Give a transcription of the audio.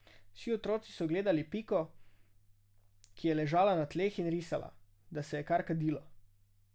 Vsi otroci so gledali Piko, ki je ležala na tleh in risala, da se je kar kadilo.